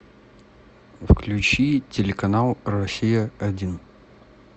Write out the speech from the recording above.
включи телеканал россия один